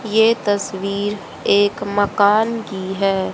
यह तस्वीर एक मकान की है।